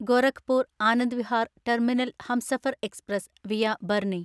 Gorakhpur Anand Vihar terminal Humsafar express (via Barnea)